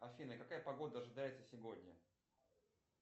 афина какая погода ожидается сегодня